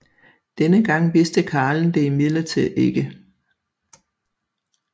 Denne gang vidste karlen det imidlertid ikke